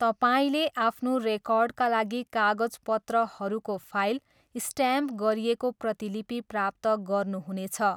तपाईँले आफ्नो रेकर्डका लागि कागजपत्रहरूको फाइल स्ट्याम्प गरिएको प्रतिलिपि प्राप्त गर्नुहुनेछ।